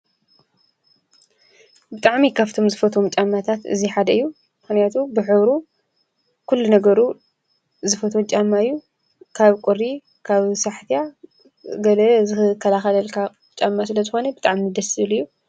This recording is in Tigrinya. ብጣዕሚ ካብቶም ዝፈጥዎም ጫማታት እዚ ሓደ እዩ፡፡ ምኽንያቱም ብሕብሩ ኩሉ ነገሩ ዝፈትዎ ጫማ እዩ፡፡ ካብ ቁሪ፣ ካብ ኣስሓትያ፣ ገለ ዝከላኸለልካ ጫማ ስለዝኾነ ብጣዕሚ ደስ ዝብል እዩ፡፡